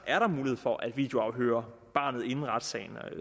er der mulighed for at videoafhøre barnet inden retssagen